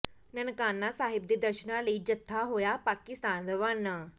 ਨਨਕਾਣਾ ਸਾਹਿਬ ਦੇ ਦਰਸ਼ਨਾਂ ਲਈ ਜੱਥਾ ਹੋਇਆ ਪਾਕਿਸਤਾਨ ਰਵਾਨਾ